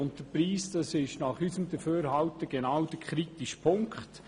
Der Preis ist nach unserem Dafürhalten genau der kritische Punkt.